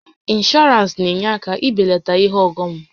Ịnshọọransị na-enye aka e belata ihe ọghọm